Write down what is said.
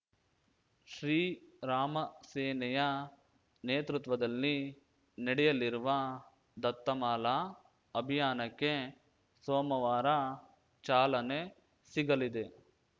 ಶ್ರೀರಾಮ ಸೇನೆಯ ನೇತೃತ್ವದಲ್ಲಿ ನಡೆಯಲಿರುವ ದತ್ತಮಾಲಾ ಅಭಿಯಾನಕ್ಕೆ ಸೋಮವಾರ ಚಾಲನೆ ಸಿಗಲಿದೆ